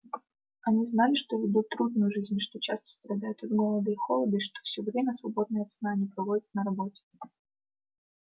они знали что ведут трудную жизнь что часто страдают от голода и холода и что всё время свободное от сна они проводят на работе